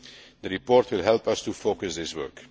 The report will help us to focus this work.